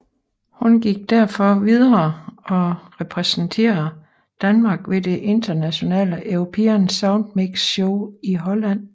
Hun gik derfor videre og repræsenterede Danmark ved det internationale European Soundmix Show i Holland